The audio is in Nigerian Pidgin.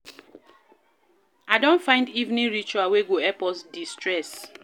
I don find evening ritual wey go help us de-stress.